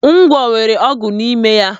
Ngwọ nwere ọgwụ n'ime ya.